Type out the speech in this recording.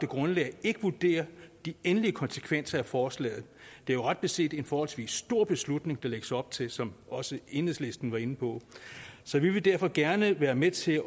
grundlag ikke vurdere de endelige konsekvenser af forslaget det er jo ret beset en forholdsvis stor beslutning der lægges op til som også enhedslisten var inde på så vi vil derfor gerne være med til